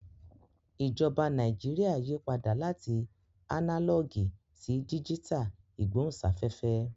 Ìjọba Nàìjíríà yí padà láti ánálọ̀gì sí díjítà ìgbóhùnsáfẹ́fẹ́